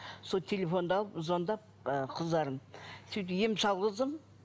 сол телефонды алып звондап ы қыздарым сөйтіп ем салғыздым